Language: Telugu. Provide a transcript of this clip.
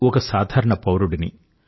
ఒక సాధారణ పౌరుడిని